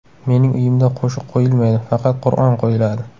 Mening uyimda qo‘shiq qo‘yilmaydi, faqat Qur’on qo‘yiladi.